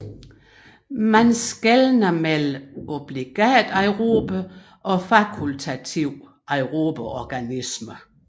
Man skelner mellem obligat aerobe og fakultativt aerobe organismer